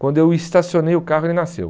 Quando eu estacionei o carro, ele nasceu.